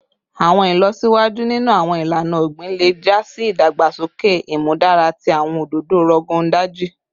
Awọn ilọsiwaju ninu awọn ilana ogbin le ja si idagbasoke imudara ti awọn ododo Rogon Daji